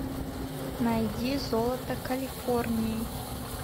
найди золото калифорнии